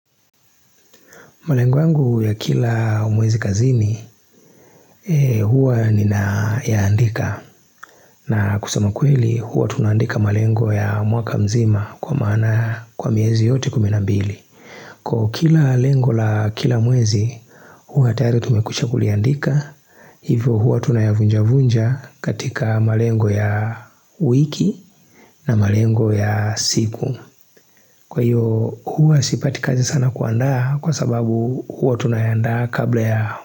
Malengo yangu ya kila mwezi kazini, huwa nina ya andika. Na kusama kweli, huwa tunaandika malengo ya mwaka mzima kwa maana kwa miezi yote kuminambili. Kwa hiyo kila lengo la kila mwezi, huwa tayari tumekwisha kuliandika. Hivyo huwa tunayavunja vunja katika malengo ya wiki na malengo ya siku. Kwa hiyo huwa sipati kazi sana kuandaa kwa sababu huwa tunayaandaa kabla ya.